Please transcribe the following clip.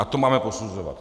A to máme posuzovat.